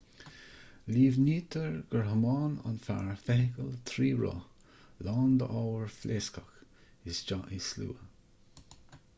líomhnaítear gur thiomáin an fear feithicil trí roth lán d'ábhair phléascach isteach i slua